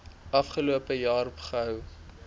afgelope jaar gehou